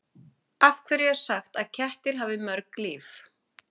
Af hverju er sagt að kettir hafi mörg líf?